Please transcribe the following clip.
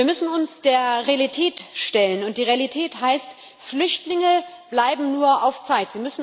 Wir müssen uns der Realität stellen, und die Realität heißt Flüchtlinge bleiben nur auf Zeit.